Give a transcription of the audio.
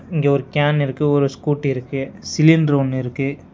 இங்க ஒரு கேன் இருக்கு ஒரு ஸ்கூட்டி இருக்கு சிலிண்டர் ஒன்னு இருக்கு.